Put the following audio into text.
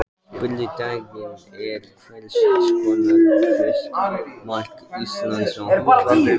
Spurning dagsins er: Hver skorar fyrsta mark Íslands á EM?